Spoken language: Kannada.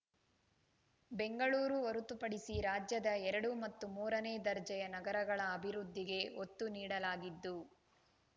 ಬೆಂಗಳೂರು ಹೊರತುಪಡಿಸಿ ರಾಜ್ಯದ ಎರಡು ಮತ್ತು ಮೂರನೇ ದರ್ಜೆಯ ನಗರಗಳ ಅಭಿವೃದ್ಧಿಗೆ ಒತ್ತು ನೀಡಲಾಗಿದ್ದು